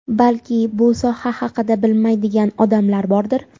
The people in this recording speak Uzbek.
Balki, bu soha haqida bilmaydigan odamlar bordir.